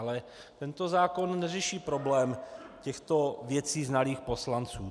Ale tento zákon neřeší problém těchto věcí znalých poslanců.